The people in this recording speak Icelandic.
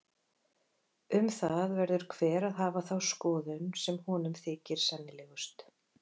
Um það verður hver að hafa þá skoðun sem honum þykir sennilegust.